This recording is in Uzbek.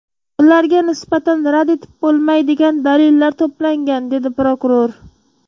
Ularga nisbatan rad etib bo‘lmaydigan dalillar to‘plangan”, dedi prokuror.